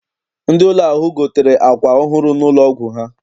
Ndị ụlọ ahụ gotere àkwà ọhụụ n'ụlọ ọgwụ ha.